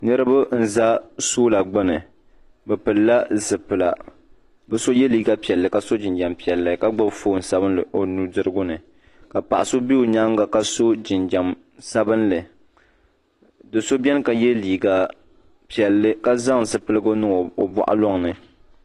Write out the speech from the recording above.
niriba n-za sɔla gbuni bɛ pilila zipilila bɛ so ye liiga piɛlli ka sɔ jinjam piɛlli ka gbubi foon sabinli o nu' dirigu ni ka paɣ' so be o nyaaga ka so jinjam sabinli do' so beni ka ye liiga piɛlli ka zaŋ zupiligu niŋ o bɔɣilɔŋ ni